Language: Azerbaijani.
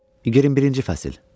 21-ci fəsil.